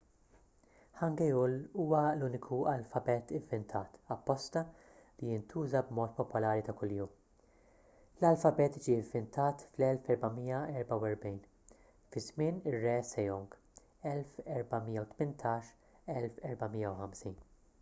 hangeul huwa l-uniku alfabet ivvintat apposta li jintuża b’mod popolari ta' kuljum. l-alfabet ġie ivvintat fl-1444 fi żmien ir-re sejong 1418 - 1450